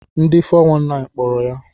Ndi 419 kpọrọ ya.